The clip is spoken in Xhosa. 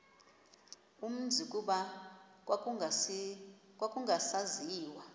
umzi kuba kwakungasaziwa